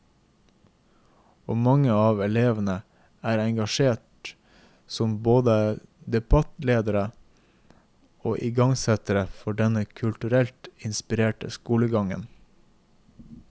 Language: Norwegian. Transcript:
Og mange av elevene er engasjert som både debattledere og igangsettere for denne kulturelt inspirerte skoledagen.